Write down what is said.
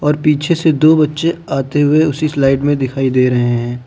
और पीछे से दो बच्चे आते हुए उसी स्लाइड में दिखाई दे रहे हैं।